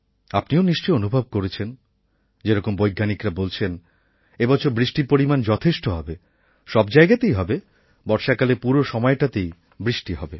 আপনিও নিশ্চয় অনুভব করছেন যেরকম বৈজ্ঞানিকরা বলছেন এবছর বৃষ্টির পরিমাণ যথেষ্ট হবে সব জায়গাতেই হবে বর্ষাকালের পুরো সময়টাতেই বৃষ্টি হবে